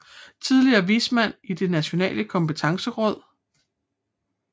Tidligere vismand i Det nationale kompetenceråd